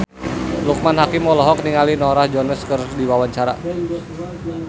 Loekman Hakim olohok ningali Norah Jones keur diwawancara